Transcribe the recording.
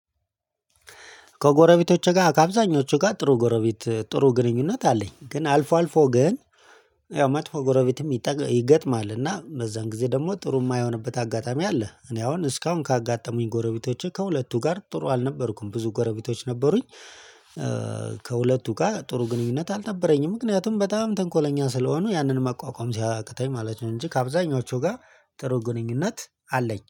ከጎረቤቶቼ ጋር ከአብዛኞቹ ጋር ጥሩ ጎረቤት ጥሩ ግንኙነት አለኝ ግን አልፎ አልፎ ግን ያው መጥፎ ጎረቤትም ይገጥማል እና በዛን ጊዜ ደግሞ ጥሩ የማይሆንበት አጋጣሚ አለ። እኔ አሁን እስካሁን ካጋጠሙኝ ጎረቤቶቼ ከሁለቱ ጋር ጥሩ አልነበርኩም ብዙ ጎረቤቶች ነበሩኝ። ከሁለቱ ጋር ጥሩ ግንኙነት አልነበረኝም ምክንያቱም በጣም ተንኮለኛ ስለሆኑ ያንን ማቋቋም ሲያቅተኝ ማለት ነው። እንጂ ከአብዛኞቹ ጋር ጥሩ ግንኙነት አለኝ